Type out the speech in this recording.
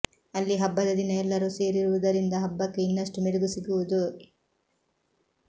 ಅಲ್ಲಿ ಹಬ್ಬದ ದಿನ ಎಲ್ಲರೂ ಸೇರುವುದರಿಂದ ಹಬ್ಬಕ್ಕೆ ಇನ್ನಷ್ಟು ಮೆರುಗು ಸಿಗುವುದು